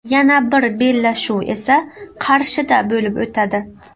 Yana bir bellashuv esa Qarshida bo‘lib o‘tadi.